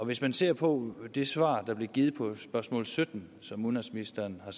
hvis man ser på det svar der blev givet på spørgsmål sytten som udenrigsministeren har